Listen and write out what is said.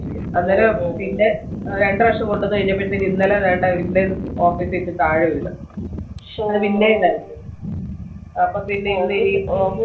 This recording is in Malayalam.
അന്നേരം പിന്നെ രണ്ടുപ്രാവശ്യം കൊണ്ടുവന്നു കൈനപ്പോയത്തെക്കു പിന്നയും office ന്ന് താഴെ വീണു അപ്പൊ പിന്നെ